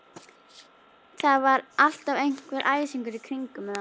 Það var alltaf einhver æsingur í kringum þá.